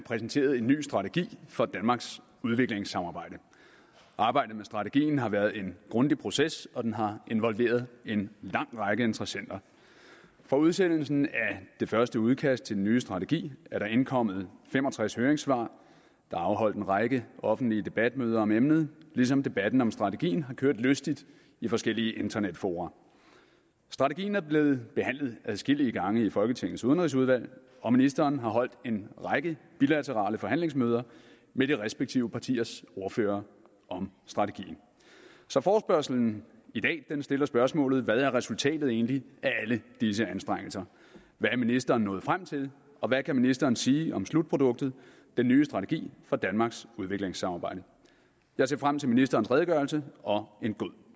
præsenteret en ny strategi for danmarks udviklingssamarbejde arbejdet med strategien har været en grundig proces og den har involveret en lang række interessenter fra udsendelsen af det første udkast til den nye strategi er der indkommet fem og tres høringssvar der er afholdt en række offentlige debatmøder om emnet ligesom debatten om strategien har kørt lystigt i forskellige internetfora strategien er blevet behandlet adskillige gange i folketingets udenrigsudvalg og ministeren har holdt en række bilaterale forhandlingsmøder med de respektive partiers ordførere om strategien så forespørgslen i dag stiller spørgsmålet hvad er resultatet egentlig af alle disse anstrengelser hvad er ministeren nået frem til og hvad kan ministeren sige om slutproduktet den nye strategi for danmarks udviklingssamarbejde jeg ser frem til ministerens redegørelse og en god